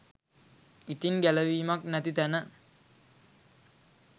ඉතින් ගැලවීමක් නැති තැන